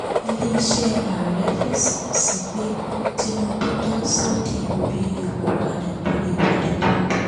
ilé-iṣẹ́ ààrẹ fèsì sí pé tinubu dá súdy orí epo padà torí ìwọ́de tó ń bọ̀